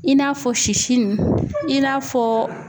I n'a fɔ sisi nu i n'a fɔ